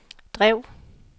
drev